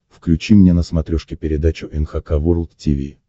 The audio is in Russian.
включи мне на смотрешке передачу эн эйч кей волд ти ви